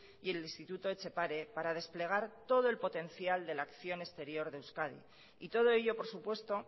y el instituto etxepare para desplegar todo el potencial de la acción exterior de euskadi y todo ello por supuesto